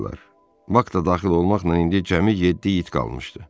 Bak da daxil olmaqla indi cəmi yeddi it qalmışdı.